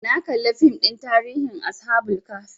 Na kalli fim ɗin tarihin ashabul kahfi